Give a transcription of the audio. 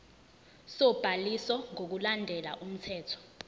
sobhaliso ngokulandela umthetho